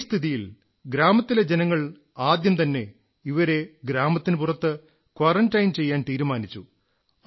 ഈ സ്ഥിതിയിൽ ഗ്രാമത്തിലെ ജനങ്ങൾ ആദ്യംതന്നെ ഇവരെ ഗ്രാമത്തിനു പുറത്ത് ക്വാ്വറന്റൈൻ ചെയ്യാൻ തീരുമാനിച്ചു